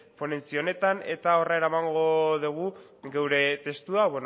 ponentzia honetan eta horra eramango dugu gure testua